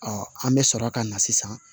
an bɛ sɔrɔ ka na sisan